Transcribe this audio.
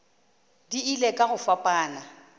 di ile ka go fapana